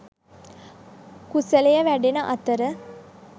කුසලය වැඩෙන අතර,